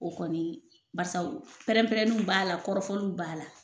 O kɔni barisabu pɛrɛn-pɛrɛninw b'a la kɔrɔfɔliw b'a la.